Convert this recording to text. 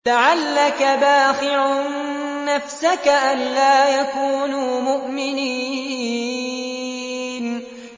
لَعَلَّكَ بَاخِعٌ نَّفْسَكَ أَلَّا يَكُونُوا مُؤْمِنِينَ